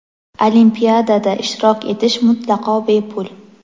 Olimpiadada ishtirok etish mutlaqo bepul!.